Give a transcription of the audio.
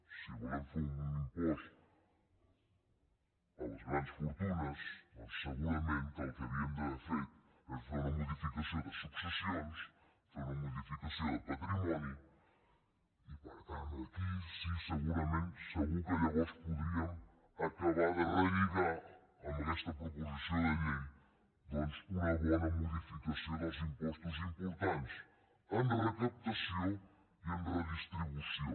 si volíem fer un impost a les grans fortunes doncs segurament que el que havíem d’haver fet és fer una modificació de successions fer una modificació de patrimoni i per tant aquí sí segurament segur que llavors podríem acabar de relligar ho amb aquesta proposició de llei una bona modificació dels impostos importants en recaptació i en redistribució